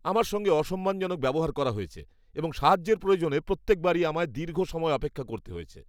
আমার সঙ্গে অসম্মানজনক ব্যবহার করা হয়েছে এবং সাহায্যের প্রয়োজনে প্রত্যেক বারই আমায় দীর্ঘ সময় অপেক্ষা করতে হয়েছে।